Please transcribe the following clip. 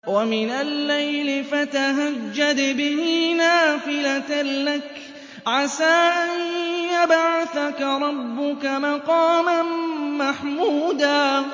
وَمِنَ اللَّيْلِ فَتَهَجَّدْ بِهِ نَافِلَةً لَّكَ عَسَىٰ أَن يَبْعَثَكَ رَبُّكَ مَقَامًا مَّحْمُودًا